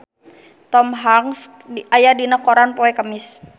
Tom Hanks aya dina koran poe Kemis